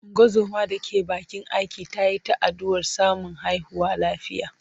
Ungozoma da ke bakin aiki ta yi ta addu’ar samun haihuwa lafiya.